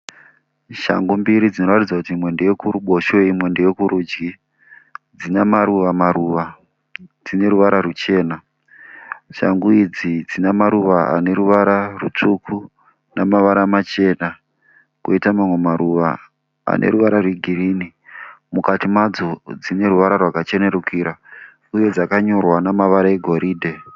Shangu mbiri dzinoratidza kuti imwe ndeyekuruboshwe imwe ndeyekurudyi, dzine maruva maruva, dzineruvara ruchena. Shangu idzi dzine dzinemaruva raneruva rutsvuku nemavara machena. Poita mamwe maruva aneruvara rwegirinhi. Mukati madzo dzine ruvara rwakachenerukira uye dzakanyora nemavara egoridhe.